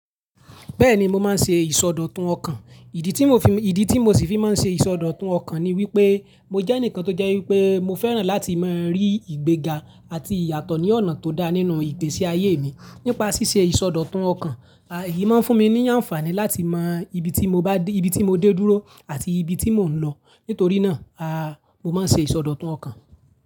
Bẹ́ẹ̀ni, mo máa ń ṣe ìsọdọ̀tun ọkàn. Ìdí tí mo fi, ìdí tí mo sì fi máa ń ṣe ìsọdọ̀tun ọkàn ni wípé mo jẹ́ ẹnìkan tó jẹ́ wípé mo fẹ́ràn láti máa rí ìgbéga àti ìyàtọ̀ ní ọ̀nà tó dá nínú ìpèsè ayé mi. Nípa ṣíṣe ìsọdọ̀tun ọkàn, ah yìí máa ń fún mi ní àǹfààní láti mọ ibi tí mo bá dé, ibi tí mo dé dúró àti ibi tí mò ń lọ. Nítorí náà, ah mo máa ń ṣe ìsọdọ̀tun ọkàn.